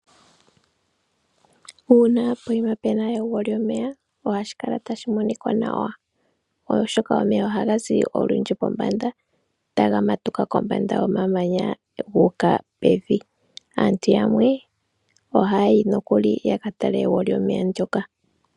Uuna pokuma pu na egwo lyomeya, ohashi kala tashi monika nawa oshoka omeya ohaga zi olundji pombanda taga matuka kombanda yomamanya gu uka pevi. Aantu yamwe ohaya yi nokuli ya ka tale egwo lyomeya ndoka.